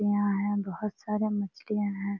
यहां है बहुत सारे मछलियां है।